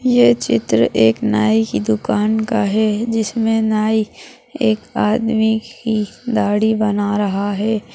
ये चित्र एक नाइ की दुकान का है जिसमें नाई एक आदमी की दाढ़ी बना रहा है।